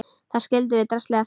Þar skildum við draslið eftir.